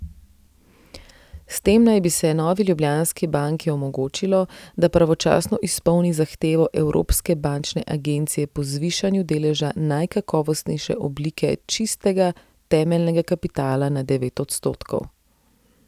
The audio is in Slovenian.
S tem naj bi se Novi Ljubljanski banki omogočilo, da pravočasno izpolni zahtevo Evropske bančne agencije po zvišanju deleža najkakovostnejše oblike čistega temeljnega kapitala na devet odstotkov.